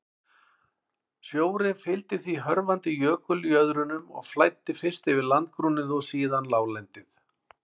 Sjórinn fylgdi því hörfandi jökuljöðrunum og flæddi fyrst yfir landgrunnið og síðan láglendið.